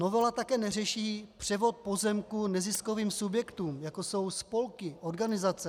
Novela také neřeší převod pozemků neziskovým subjektům, jako jsou spolky, organizace.